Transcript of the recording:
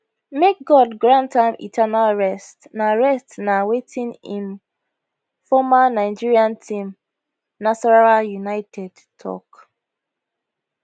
make god grant am eternal rest na rest na wetin im former nigeria team nasarawa united tok